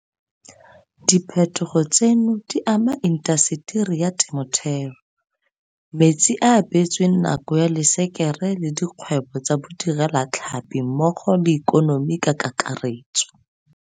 Diphetogo tseno di ama intaseteri ya temothuo, metsi a a beetsweng nako ya lešekere le dikgwebo tsa bodirelatlhapi mmogo le ikonomi ka kakaretso.